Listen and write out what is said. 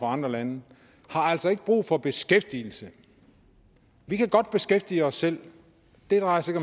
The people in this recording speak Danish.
andre lande altså ikke brug for beskæftigelse vi kan godt beskæftige os selv det drejer sig